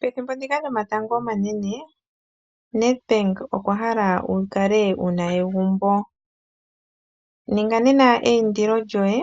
Pethimbo ndika lyomatango omanene Nedbenk okwa hala wu kale wu na egumbu. Ninga nena eindilo lyoye,